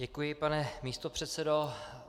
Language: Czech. Děkuji, pane místopředsedo.